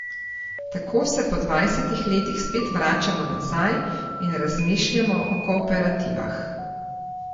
Tako se po dvajsetih letih spet vračamo nazaj in razmišljamo o kooperativah.